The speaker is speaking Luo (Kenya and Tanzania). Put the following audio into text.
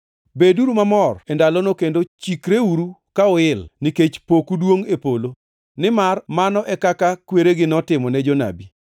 “Beduru mamor e ndalono kendo chikreuru ka uil, nikech poku duongʼ e polo. Nimar mano e kaka kweregi notimo ne jonabi.